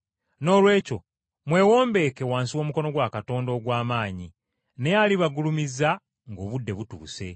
Noolwekyo mwewombeeke wansi w’omukono gwa Katonda ogw’amaanyi, naye alibagulumiza ng’obudde butuuse.